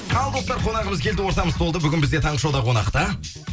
ал достар қонағымыз келді ортамыз толды бүгін бізде таңғы шоуда қонақта